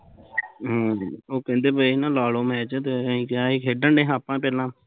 ਹਮ, ਉਹ ਕਹਿੰਦੇ ਬਈ ਨਾ ਲਾਲੋ match ਅਸੀਂ ਕਿਹਾ ਅਸੀਂ ਖੇਡਣ ਡਏ ਸਾ ਆਪਣਾ ਪਹਿਲਾਂ